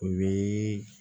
O bi